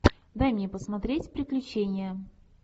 дай мне посмотреть приключения